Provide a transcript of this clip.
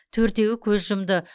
төртеуі көз жұмды